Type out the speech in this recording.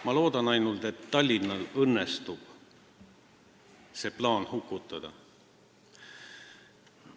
Ma loodan ainult, et Tallinnal õnnestub see plaan hukutada.